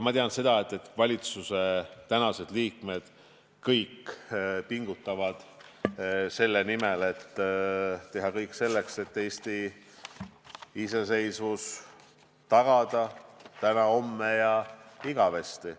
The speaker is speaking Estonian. Ma tean seda, et valitsuse liikmed kõik pingutavad selle nimel, et teha kõik selleks, et Eesti iseseisvus tagada täna, homme ja igavesti.